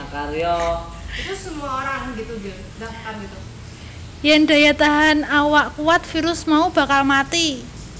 Yen daya tahan awak kuwat virus mau bakal mati